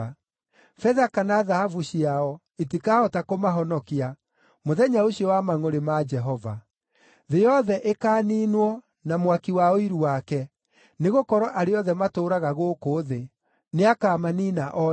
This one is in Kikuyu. Betha kana thahabu ciao itikahota kũmahonokia, mũthenya ũcio wa mangʼũrĩ ma Jehova. Thĩ yothe ĩkaaniinwo na mwaki wa ũiru wake, nĩgũkorwo arĩa othe matũũraga gũkũ thĩ nĩakamaniina o rĩmwe.”